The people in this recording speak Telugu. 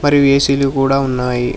మరియు ఏ_సీ లు కూడా ఉన్నాయి.